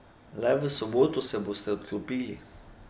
Le v soboto se boste odklopili.